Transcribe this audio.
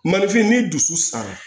Malifin ni dusu sara